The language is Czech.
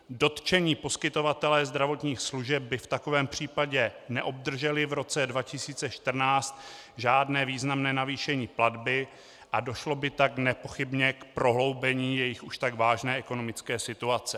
Dotčení poskytované zdravotních služeb by v takovém případě neobdrželi v roce 2014 žádné významné navýšení platby a došlo by tak nepochybně k prohloubení jejich už tak vážné ekonomické situace.